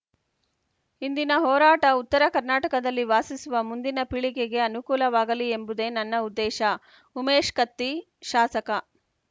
ಇಂದಿನ ಹೋರಾಟ ಉತ್ತರ ಕರ್ನಾಟಕದಲ್ಲಿ ವಾಸಿಸುವ ಮುಂದಿನ ಪೀಳಿಗೆಗೆ ಅನುಕೂಲವಾಗಲಿ ಎಂಬುದೇ ನನ್ನ ಉದ್ದೇಶ ಉಮೇಶ್ ಕತ್ತಿ ಶಾಸಕ